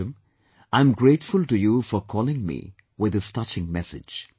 Madam I am grateful to you for calling me with this touching message